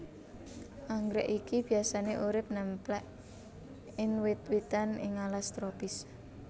Anggrèk iki biyasané urip némplék in wit witan ing alas tropis